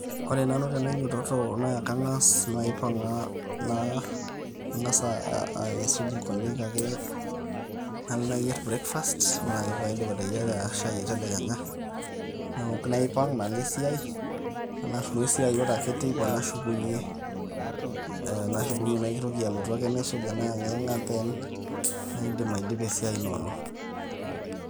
Ore nanu tenainyototo na kang'as naipang' na ang'as aisuj inkonyek ake, nalo ayier breakfast. Ore ake paidip ateyiara shai etedekenya, naok naipang' nalo esiai. Ena rroyo esiai Ore ake teipa nashukunye naitoki ake naisuja, naiyeng'yeng'a, naidim adipa esiai inoolong'.